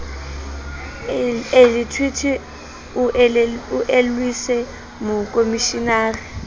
e lethwethwe o elellwise mokomishenara